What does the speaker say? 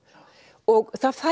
og það